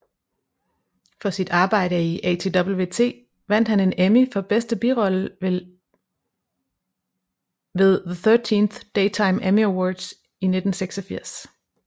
For sit arbejde i ATWT vandt han en Emmy for bedste birolle ved the 13th Daytime Emmy Awards i 1986